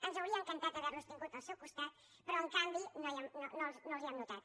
ens hauria encantat haver los tingut al costat però en canvi no els hi hem notat